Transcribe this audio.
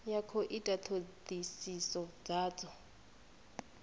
ya khou ita thodisiso dzadzo